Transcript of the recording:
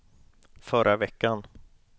förra veckan